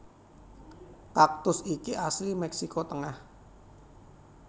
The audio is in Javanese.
Kaktus iki asli Mèksiko tengah